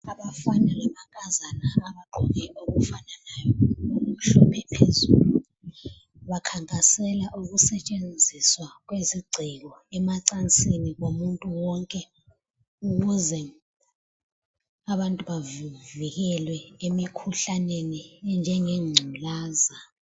Abafana lamankazana abagqoke okufanayo okumhlophe phezulu bakhankasela ukusetshenziswa kwezigceko emacansini komuntu wonke ukuze abantu bavikelwe emikhuhlaneni enjenge ngculaza.